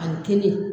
A ye kelen